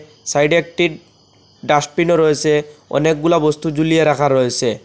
Side -এ একটি dustbin -ও রয়েসে অনেকগুলা বস্তু ঝুলিয়ে রাখা রয়েসে।